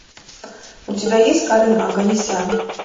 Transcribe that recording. у тебя есть карен оганесян